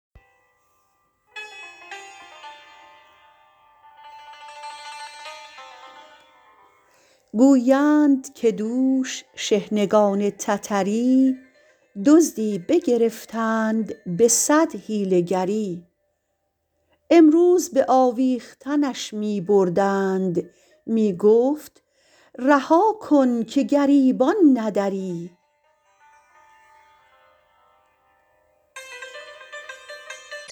گویند که دوش شحنگان تتری دزدی بگرفتند به صد حیله گری امروز به آویختنش می بردند می گفت رها کن که گریبان ندری